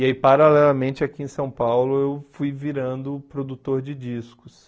E aí, paralelamente, aqui em São Paulo, eu fui virando produtor de discos.